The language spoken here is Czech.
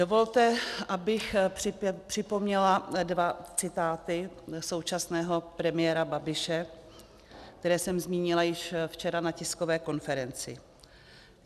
Dovolte, abych připomněla dva citáty současného premiéra Babiše, které jsem zmínila již včera na tiskové konferenci.